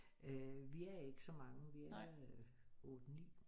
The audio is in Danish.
Vi er ikke så mange vi er øh 8 9